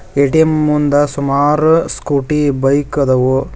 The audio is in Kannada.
ಎ_ಟಿ_ಎಂ ಮುಂದ ಸುಮಾರು ಸ್ಕೂಟಿ ಬೈಕ್ ಅದವು.